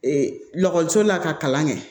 kɔliso la ka kalan kɛ